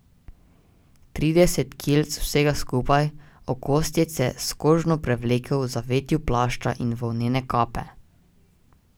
Trideset kilc vsega skupaj, okostjece, s kožno prevleko, v zavetju plašča in volnene kape.